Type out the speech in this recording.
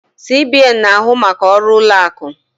CBN na-ahụ maka ọrụ ụlọ akụ.